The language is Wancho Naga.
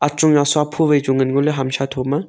nawsa pho wai chu ngan ngoley hamsa thoma.